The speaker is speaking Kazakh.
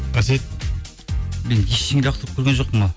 әсет мен ештеңе лақтырып көрген жоқпын ау